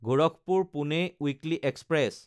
Gorakhpur-Pune weekly express